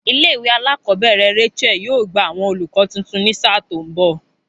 Ilé ìwé alákòóbèrè Rachael yóò gba àwon olùkó tuntun ní sáà tó n bò